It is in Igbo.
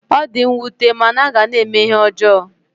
Ọ di nwute mana a ga na-eme ihe ọjọọ